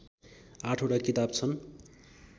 आठवटा किताब छन्